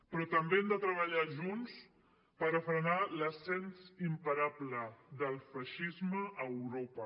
però també hem de treballar junts per a frenar l’ascens imparable del feixisme a europa